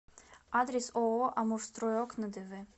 адрес ооо амурстройокна дв